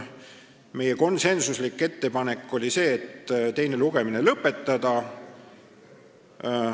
Meie konsensuslik ettepanek oli teine lugemine lõpetada.